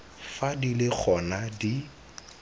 fa di le gona di